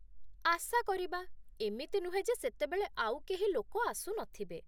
ଆଶା କରିବା । ଏମିତି ନୁହେଁ ଯେ ସେତେବେଳେ ଆଉ କେହି ଲୋକ ଆସୁନଥିବେ ।